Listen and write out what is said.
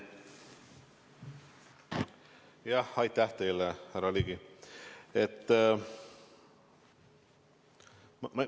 Aitäh teile, härra Ligi!